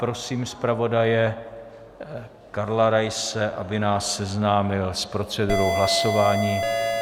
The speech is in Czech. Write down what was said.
Prosím zpravodaje Karla Raise, aby nás seznámil s procedurou hlasování.